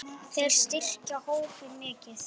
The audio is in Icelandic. endrum og eins.